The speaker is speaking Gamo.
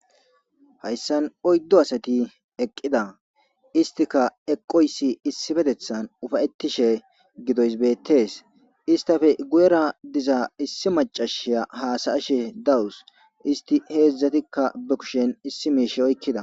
Hayssan oyddo asati eqqida istika eqqoyssi issi petethan ufayetishe gidoys beettees istafe guyera diza issi macashiya haasayashe dawus isti heedzdzatikka be kushen issi miishe oykkida